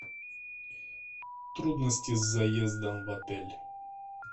трудности с заездом в отель